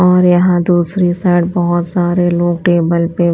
और यहां दूसरी साइड बहुत सारे लोग टेबल पे--